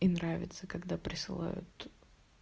и нравится когда присылают